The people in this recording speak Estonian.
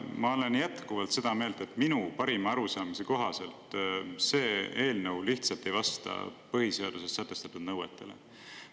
Ma olen jätkuvalt seda meelt, et minu parima arusaamise kohaselt see eelnõu lihtsalt ei vasta põhiseaduses sätestatud nõuetele.